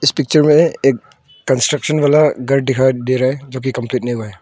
Picture में एक construction वाला घर दिखाई दे रहा है जो की कंप्लीट नहीं हुआ है।